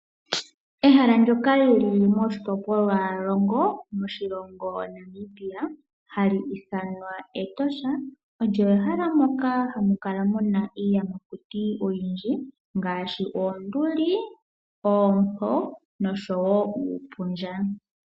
Ehala ndoka lili moshitopolwalongo oshilongo Namibia hali ithanwa Etosha, olyo ehala moka hamukala muna iiyamakuti oyindji ngaashi oonduli, oompo nosho wo uupundja.